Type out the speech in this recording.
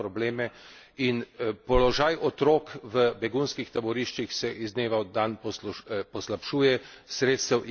In položaj otrok v begunskih taboriščih se iz dneva v dan poslabšuje, sredstev je vedno manj.